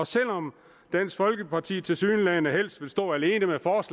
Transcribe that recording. selv om dansk folkeparti tilsyneladende helst vil stå alene